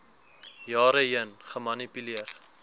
jare heen gemanipuleer